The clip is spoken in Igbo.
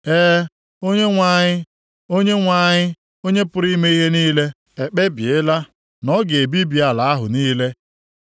E, Onyenwe anyị, Onyenwe anyị, Onye pụrụ ime ihe niile, ekpebiela na ọ ga-ebibi ala ahụ niile.